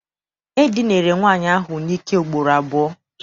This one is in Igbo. E dinere nwaanyị ahụ n'ike ugboro abụọ.